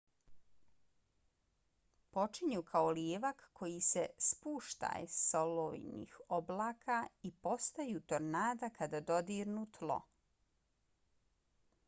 počinju kao lijevak koji se spuštaj s olujnih oblaka i postaju tornada kada dodirnu tlo